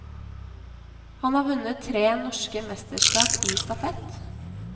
Han har vunnet tre norske mesterskap i stafett.